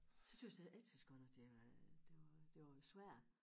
Så tøs jeg jeg tøs godt nok det var det var det var svært